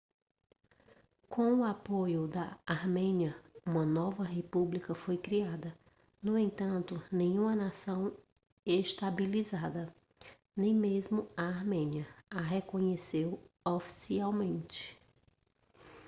com o apoio da armênia uma nova república foi criada no entanto nenhuma nação estabilizada nem mesmo a armênia a reconheceu oficialmente